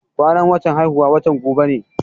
Kwanan watan haihuwana watan gobe ne.